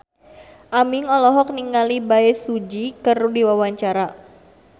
Aming olohok ningali Bae Su Ji keur diwawancara